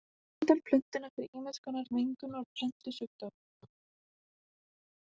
Það verndar plöntuna fyrir ýmiss konar mengun og plöntusjúkdómum.